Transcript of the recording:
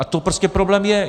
A to prostě problém je.